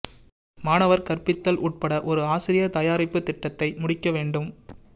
மாணவர் கற்பித்தல் உட்பட ஒரு ஆசிரியர் தயாரிப்பு திட்டத்தை முடிக்க வேண்டும்